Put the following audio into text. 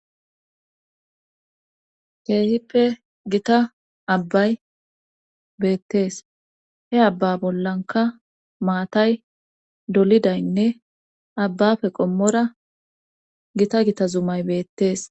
keehippe gita abbay beettees he abba bollanka maatay dolidaynne abbafe qommora gita gita zumay beettees